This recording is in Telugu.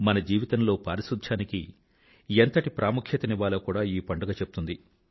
మన జీవితంలో పారిశుధ్యానికి ఎంతటి ప్రాముఖ్యత నివ్వాలో కూడా ఈ పండుగ చెప్తుంది